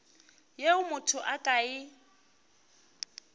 yeo motho a ka e